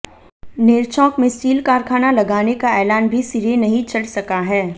नेरचौक में स्टील कारखाना लगाने का ऐलान भी सिरे नहीं चढ़ सका है